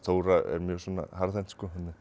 Þóra er mjög harðhent